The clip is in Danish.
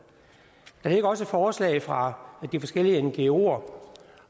der ligger også et forslag fra de forskellige ngoer